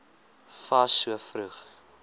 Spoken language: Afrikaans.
fas so vroeg